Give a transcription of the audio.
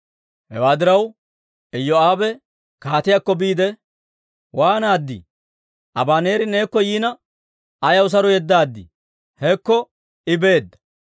Hewaa diraw, Iyoo'aabe kaatiyaakko biide, «Waanaaddii! Abaneeri neekko yiina, ayaw saro yeddaad? Hekko I beedda!